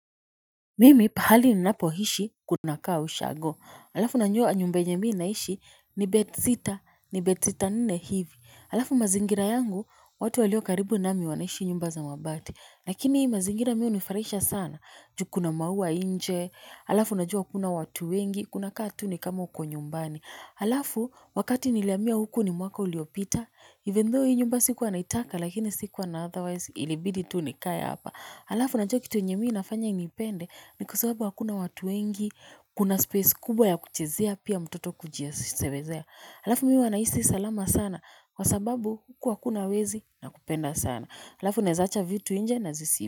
Mimi pahali ninapo hishi kuna kaa ushago alafu najua nyumba yenye mi naishi ni bebsita ni bebsita nne hivi alafu mazingira yangu watu walio karibu nami wanaishi nyumba za mabati lakini hii mazingira mi hunifurahisha sana juu kuna mauwa nje alafu na jua hakuna watu wengi kuna kaa tu ni kama uko nyumbani alafu wakati nilihamia huku ni mwaka uliopita even though hii nyumba sikuwa naitaka lakini sikuwa na otherwise ilibidi tu nikae hapa alafu na unajua kitu yenye mi nafanya inipende. Ni kwasababu hakuna watu wengi, kuna space kubwa ya kuchezea pia mtoto kuji sebezea. Alafu mimi huwa nahisi salama sana kwa sababu huku hakuna wezi na kupenda sana. Halafu naeza acha vitu nje na zisi ba.